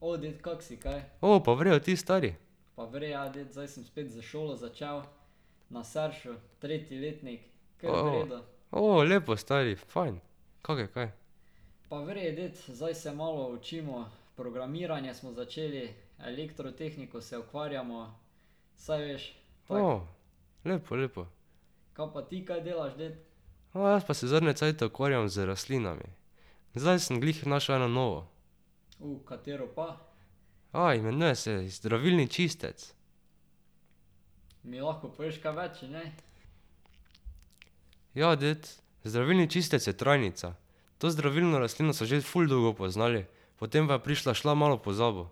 pa v redu, ti, stari? lepo stari, fajn. Kako je kaj? lepo, lepo. Ma, jaz pa se zadnje cajte ukvarjam z rastlinami. Zdaj sem glih našel eno novo. imenuje se zdravilni čistec. Ja, ded. Zdravilni čistec je trajnica. To zdravilno rastlino so že ful dolgo poznali. Potem pa je prišla, šla malo v pozabo.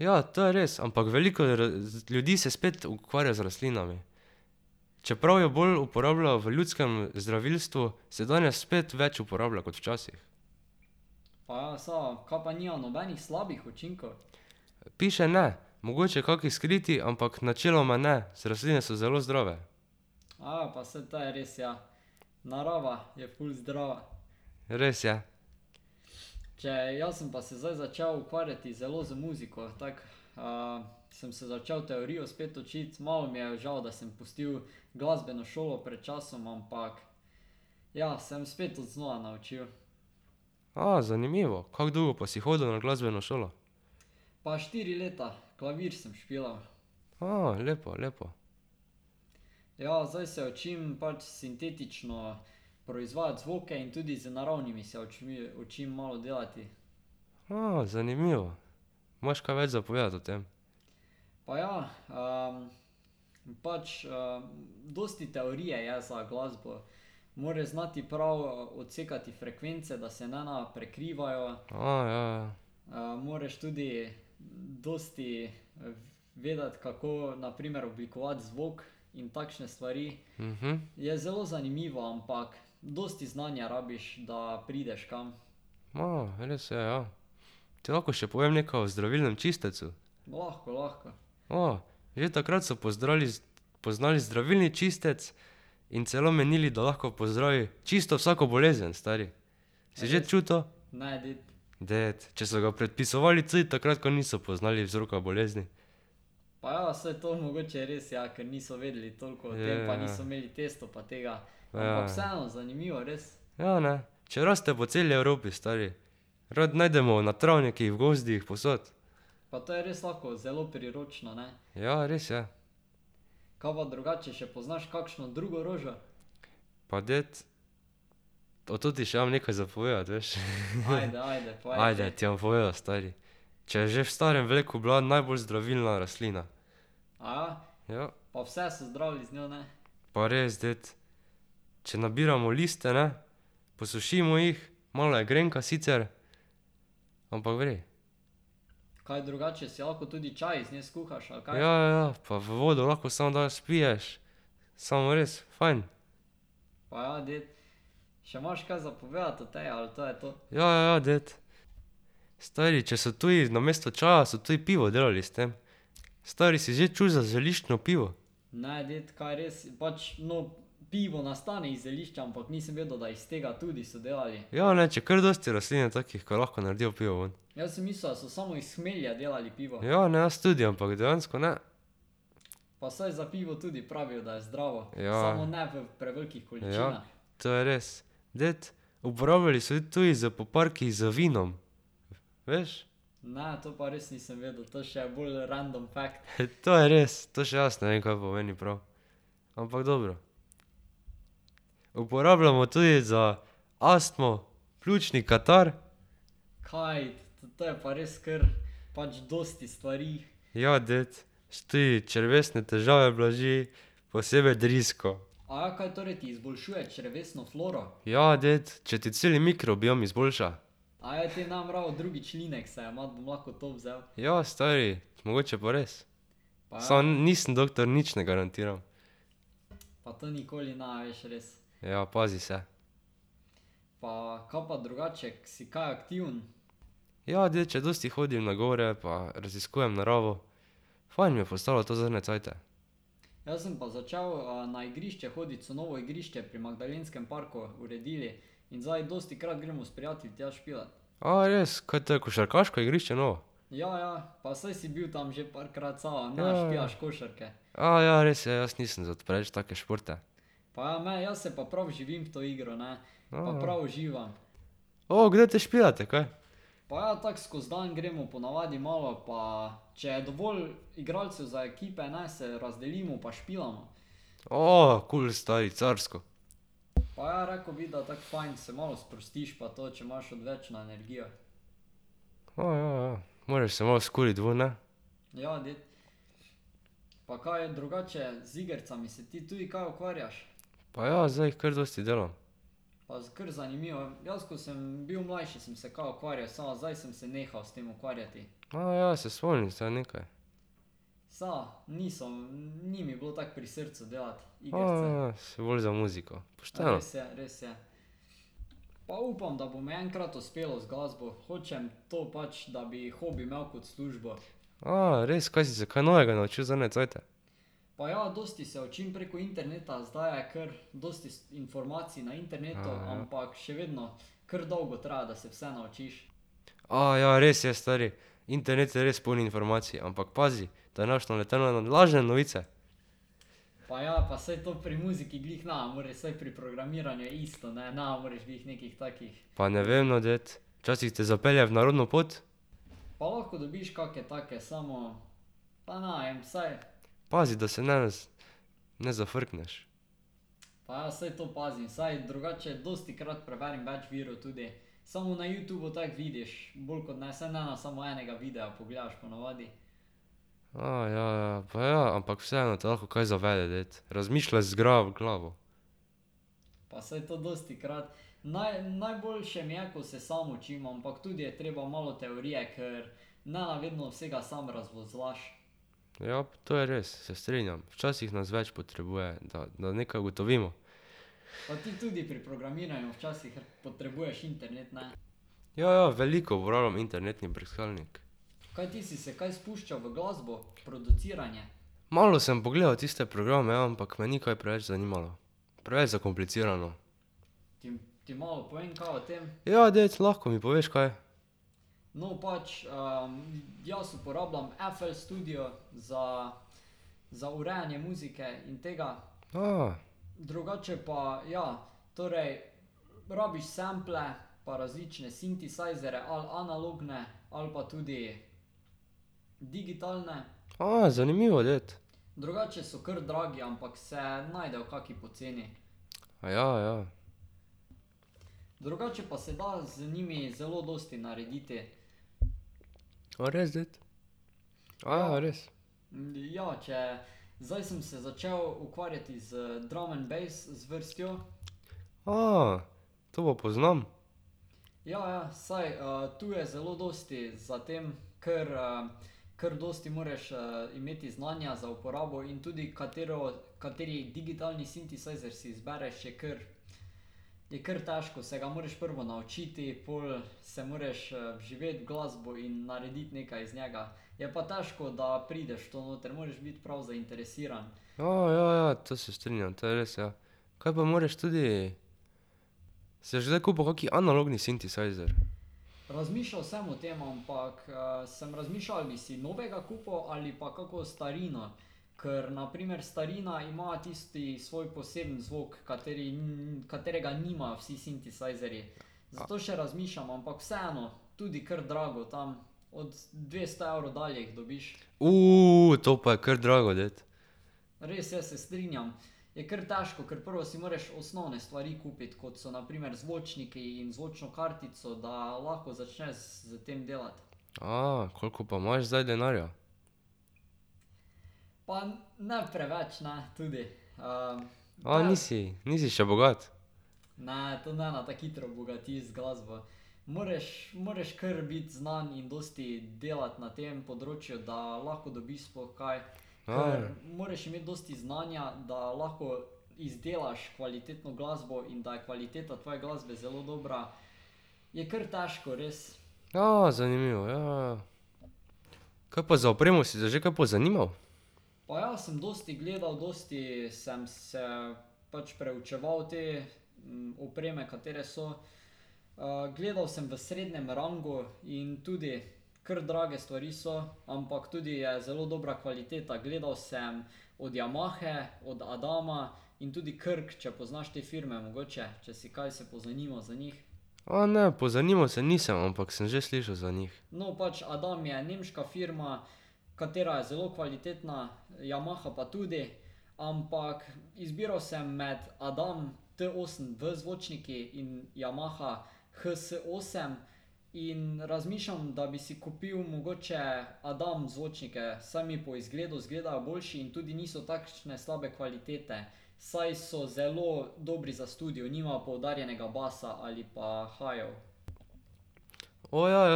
Ja, to je res. Ampak veliko ljudi se spet ukvarja z rastlinami. Čeprav jo bolj uporabljajo v ljudskem zdravilstvu, se danes spet več uporablja kot včasih. Piše ne. Mogoče kaki skriti, ampak načeloma ne, se rastline so zelo zdrave. Res je. zanimivo. Kako dolgo pa si hodil na glasbeno šolo? lepo, lepo. zanimivo. Imaš kaj več za povedati o tem? ja, ja. res je, ja. Ti lahko še povem nekaj o zdravilnem čistecu? Že takrat so pozdrali poznali zdravilni čistec in celo menili, da lahko pozdravi čisto vsako bolezen, stari. Si že čul to? Ded. Če so ga predpisovali tudi takrat, ko niso poznali vzroka bolezni. Ja, ja, ja. Ja, ja. Ja, ne. Če raste po celi Evropi, stari. Rad najdemo na travnikih, v gozdih, povsod. Ja, res je. Pa ded. O toti še imam nekaj za povedati, veš. Ajde, ti bom povedal, stari. Če je že v starem veku bila najbolj zdravilna rastlina. Pa res, ded. Če nabiramo liste, ne, posušimo jih, malo je grenka, sicer, ampak v redu. Ja, ja, ja. Pa v vodo lahko samo daš pa spiješ. Samo res, fajn. Ja, ja, ja, ded. Stari, če so tudi namesto čaja so tudi pivo delali s tem. Stari, si že čul za zeliščno pivo? Ja, ne, če kar dosti rastlin je takih, ko lahko naredijo pivo ven. Ja, ne, jaz tudi, ampak dejansko ne. Ja, ja. Ja, to je res. Ded. Uporabljali so jo tudi za poparki z vinom. Veš? To je res, to še jaz ne vem, kaj pomeni prav. Ampak dobro. Uporabljamo tudi za astmo, pljučni katar ... Ja, ded. tudi črevesne težave blaži, posebej drisko. Ja, ded. Če ti cel mikrobiom izboljša. Ja, stari. Mogoče pa res. Samo nisem doktor, nič ne garantiram. Ja, pazi se. Ja, ded, če dosti hodim na gore pa raziskujem naravo. Fajn mi je postalo to zadnje cajte. res, kaj to je košarkaško igrišče novo? ja, res je, jaz nisem za preveč take športe. kdaj te špilate kaj? kul stari, carsko. ja, ja, ja. Moraš se malo skuriti vun, ne. Pa ja, zdaj jih kar dosti delam. ja, se spomnim zdaj nekaj. si bolj za muziko. Pošteno. res, kaj si se kaj novega naučil zadnje cajte? ja, res je, stari. Internet je res poln informacij, ampak pazi, da ne boš naletel na na lažne novice. Pa ne vem, no, ded. Včasih te zapelje v narobno pot. Pazi, da se ne ne zafrkneš. ja, ja, ja. Pa ja, ampak vseeno te lahko kaj zavede, ded. Razmišljaj z glavo. Ja. To je res, se strinjam. Včasih nas več potrebuje, da da nekaj ugotovimo. Ja, ja, veliko uporabljam internetni brskalnik. Malo sem pogledal tiste programe, ja, ampak me ni kaj preveč zanimalo. Preveč zakomplicirano. Ja, dec, lahko mi poveš kaj. zanimivo, ded. Aja, ja. A res, ded? res? To pa poznam. ja, ja, to se strinjam, to je res, ja. Kaj pa moraš tudi ... Si boš kdaj kupil kaki analogni sintesajzer? to pa je kar drago, ded. koliko pa imaš zdaj denarja? nisi, nisi še bogat? zanimivo, ja, ja, ja. Kaj pa za opremo si se že kaj pozanimal? ne, pozanimal se nisem, ampak sem že slišal za njih. ja, jaz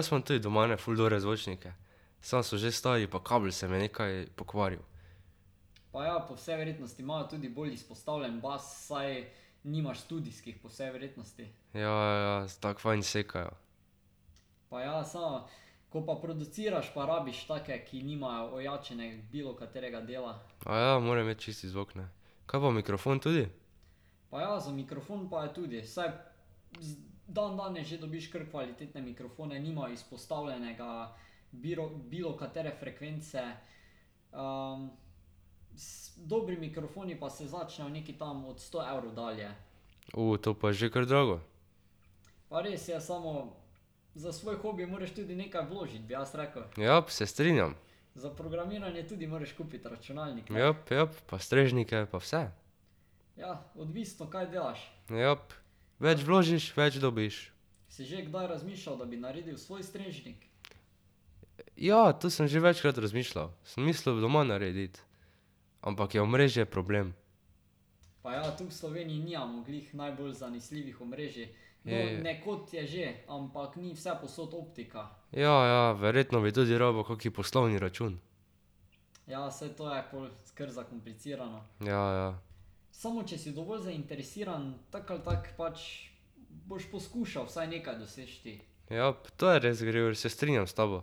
imam tudi doma ene ful dobre zvočnike. Samo so že stari pa kabel se mi je nekaj pokvaril. Ja, ja, ja, tako fajn sekajo. morajo imeti čisti zvok, ne. Kaj pa mikrofon tudi? to pa je že kar drago. Jap, se strinjam. Jap, jap, pa strežnike pa vse. Jap. Več vložiš, več dobiš. ja, to sem že večkrat razmišljal. Sem mislil doma narediti. Ampak je omrežje problem. Ja, ja, verjetno bi tudi rabil kak poslovni račun. Ja, ja. Jap, to je res, Gregor, se strinjam s tabo.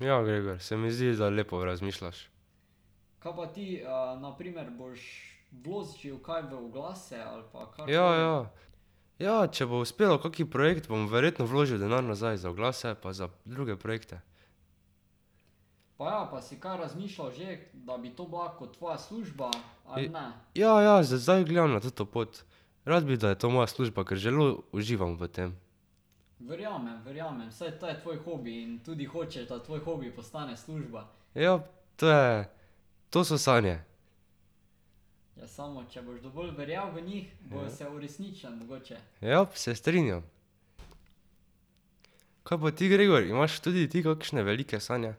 Ja, Gregor, se mi zdi, da lepo razmišljaš. Ja, ja. Ja, če bo uspelo kak projekt, bom verjetno vložil denar nazaj za oglase pa za druge projekte. Ja, ja, zdaj gledam na toto pot. Rad bi, da je to moja služba, ker zelo uživam v tem. Jap, to je, to so sanje. Jap, se strinjam, Kaj pa ti, Gregor? Imaš tudi ti kakšne velike sanje?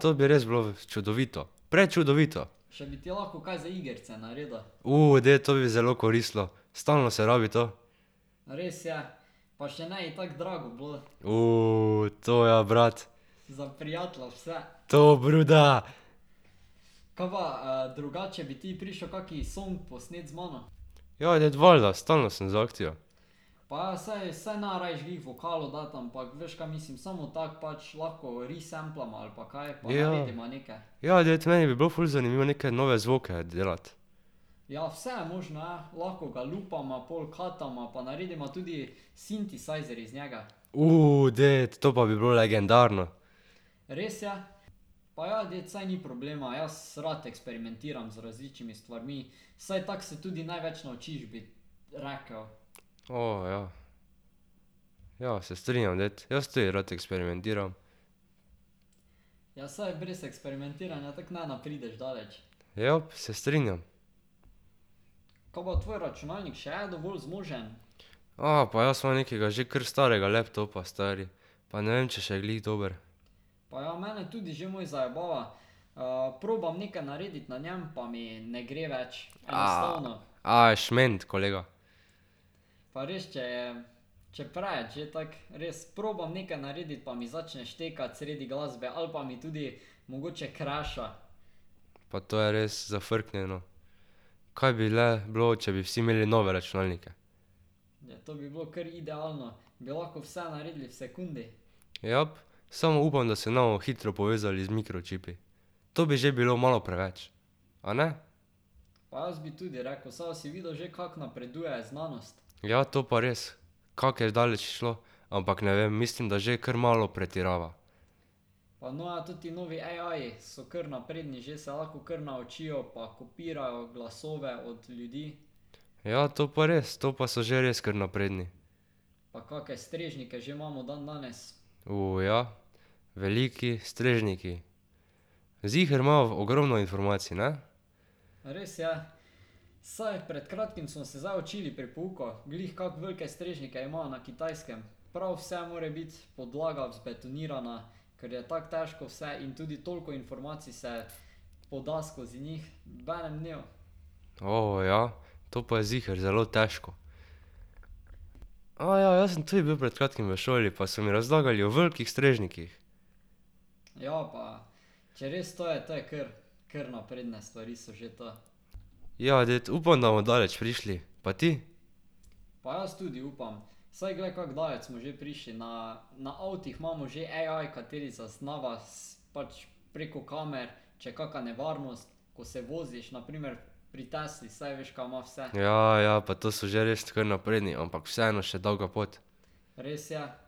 to bi res bilo čudovito. Prečudovito. ded, to bi zelo koristilo. Stalno se rabi to. to ja brat. To brother! Ja, dec, valjda, stalno sem za akcijo. Ja. Ja, ded, meni bi bilo ful zanimivo neke nove zvoke delati. ded, to pa bi bilo legendarno! ja. Ja, se strinjam, ded, jaz tudi rad eksperimentiram. Jap, se strinjam. pa jaz imam nekega že kar starega laptopa, stari. Pa ne vem, če še je glih dober. šment, kolega. Pa to je res zafrknjeno. Kaj bi le bilo, če bi vsi imeli nove računalnike. Jap. Samo upam, da se ne bomo hitro povezali z mikročipi. To bi že bilo malo preveč. A ne? Ja, to pa res. Kako je daleč šlo. Ampak ne vem, mislim, da že kar malo pretirava. Ja, to pa res, to pa so že res kar napredni. ja. Veliki strežniki. Ziher imajo v ogromno informacij, ne? ja? To pa je ziher zelo težko. ja, jaz sem tudi bil pred kratkim v šoli pa so mi razlagali o velikih strežnikih. Ja, ded, upam da bomo daleč prišli. Pa ti? Ja, ja, pa to so že res kar napredni, ampak vseeno še dolga pot. Jap.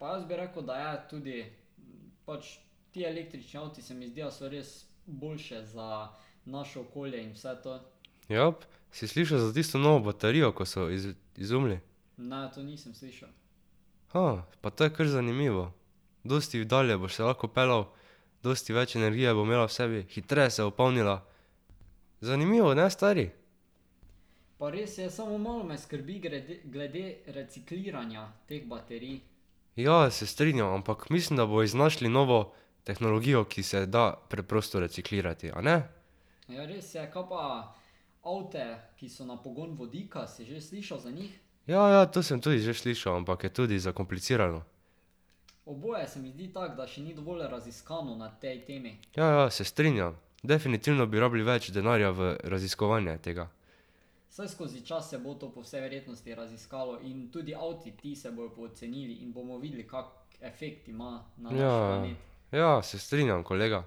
Si slišal za tisto novo baterijo, ko so izumili? Pa to je kar zanimivo. Dosti dalje boš se lahko peljal, dosti več energije bo imela v sebi, hitreje se bo polnila. Zanimivo, ne, stari? Ja, se strinjam, ampak mislim, da bojo iznašli novo tehnologijo, ki se da preprosto reciklirati, a ne? Ja, ja, to sem tudi že slišal, ampak je tudi zakomplicirano. Ja, ja, se strinjam. Definitivno bi rabili več denarja v raziskovanje tega. Ja, ja, ja. Ja, se strinjam, kolega.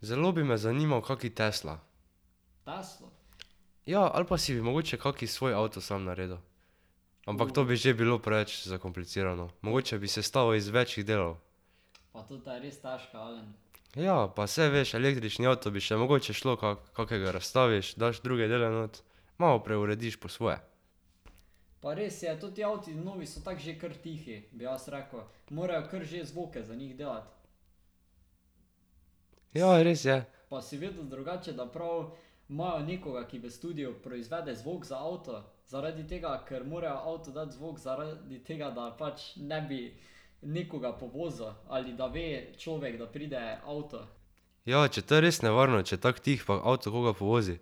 Zelo bi me zanimal kak Tesla. Ja, ali pa si bi mogoče kakšen svoj avto sam naredil. Ampak to bi že bilo preveč zakomplicirano. Mogoče bi sestavil iz več delov. Ja, pa saj veš, električni avto bi še mogoče šlo kako, kakega razstaviš, daš druge dele not, malo preurediš po svoje. Ja, ja, res je. Ja, če to je res nevarno, če je tako tih pa avto koga povozi.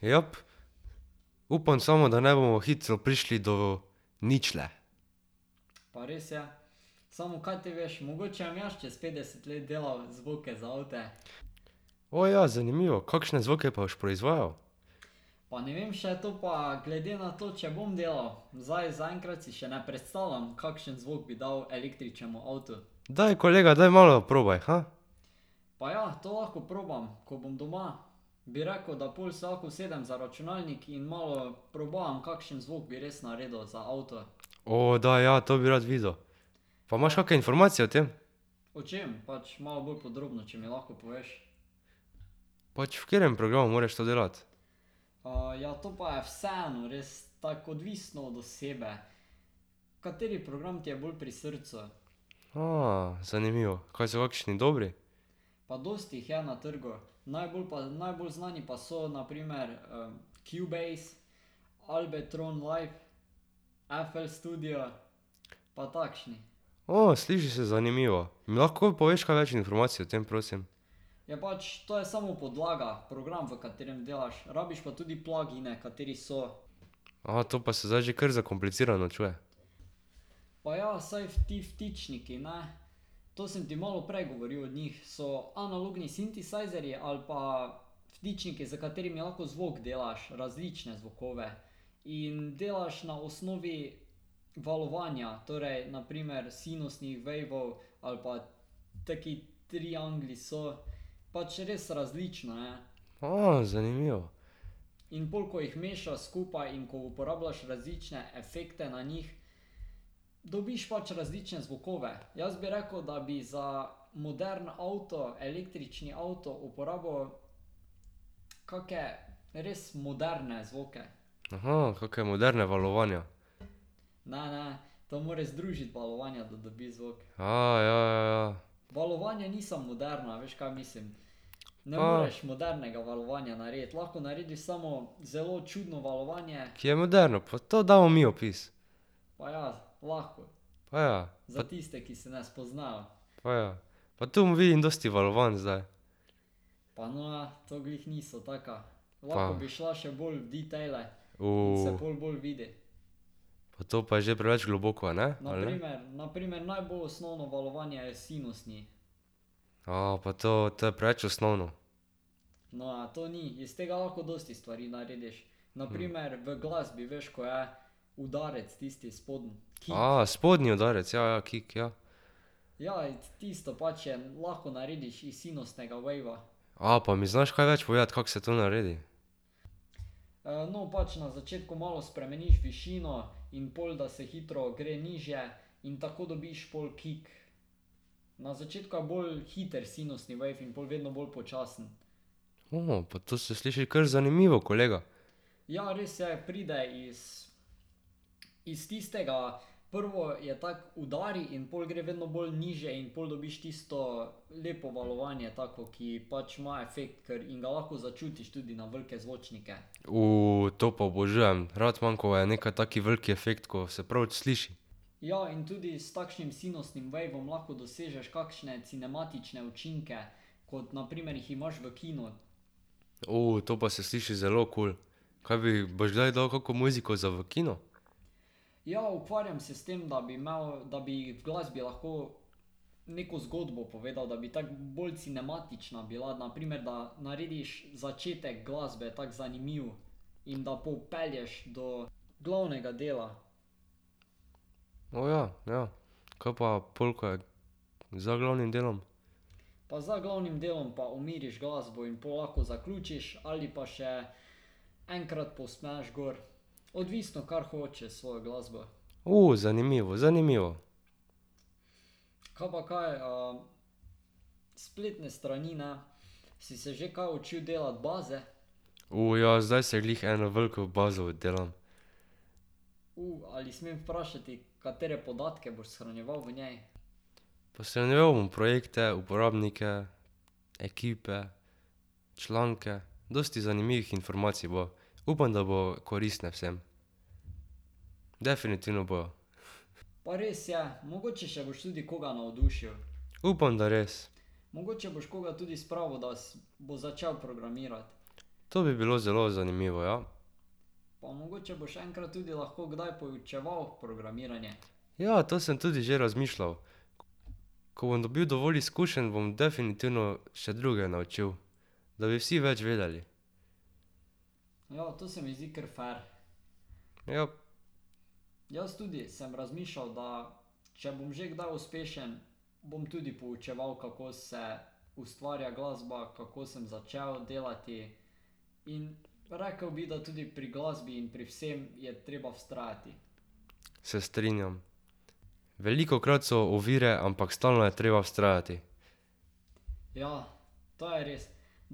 Jap. Upam samo, da ne bomo hitro prišli do ničle. ja, zanimivo, kakšne zvoke pa boš proizvajal? Daj, kolega, daj malo probaj, daj, ja, to bi rad videl. Pa imaš kakšne informacije o tem? Pač v katerem programu moraš to delati? zanimivo. Kaj so kakšni dobri? sliši se zanimivo. Mi lahko poveš kaj več informacij o tem, prosim? to pa se zdaj že kar zakomplicirano čuje. zanimivo. kaka moderna valovanja. ja, ja, ja. Ki je moderno, pa to damo mi opis. Pa ja. Pa ja. Pa tu vidim dosti valovanj zdaj. Pa. Pa to pa je že preveč globoko, a ne? Ali ne? pa to, to je preveč osnovno. spodnji udarec, ja, ja, kick, ja. pa mi znaš kaj več povedati, kako se to naredi? pa to se sliši kar zanimivo, kolega. to pa obožujem, rad imam, ko je nekaj tak velik efekt, ko se prav sliši. to pa se sliši zelo kul. Kaj bi, boš kdaj dal kako muziko za v kino? Aja ja, ja. Kaj pa pol, ko je za glavnim delom? zanimivo, zanimivo. ja, zdaj si jo glih eno veliko bazo delam. Pa shranjeval bom projekte, uporabnike, ekipe, članke, dosti zanimivih informacij bo. Upam, da bo koristne vsem. Definitivno bojo. Upam, da res. To bi bilo zelo zanimivo, ja. Ja, to sem tudi že razmišljal. Ko bom dobil dovolj izkušenj, bom definitivno še druge naučil. Da bi vsi več vedeli. Jap. Se strinjam. Velikokrat so ovire, ampak stalno je treba